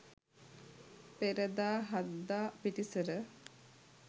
පෙරදා හද්දා පිටිසර